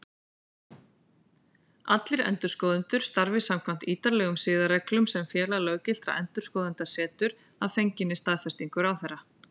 Allir endurskoðendur starfi samkvæmt ítarlegum siðareglum sem Félag löggiltra endurskoðenda setur, að fenginni staðfestingu ráðherra.